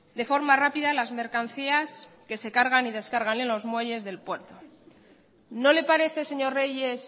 de forma rápida las mercancías que se cargan y descargan en los muelles del puerto no le parece señor reyes